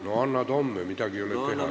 No annad homme, midagi ei ole teha.